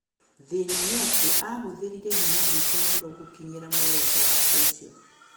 Thĩna nĩ atĩ aahũthĩrire hinya mũingĩ mũno gũkinyĩra muoroto wake ucĩo.